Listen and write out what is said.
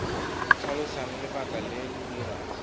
tlhalosang lebaka le le dirang